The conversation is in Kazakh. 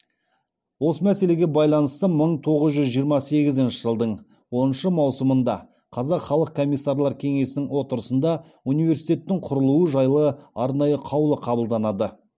осы мәселеге байланысты мың тоғыз жүз жиырма сегізінші жылдың оныншы маусымында қазақ халық комиссарлар кеңесінің отырысында университеттің құрылуы жайлы арнайы қаулы қабылданады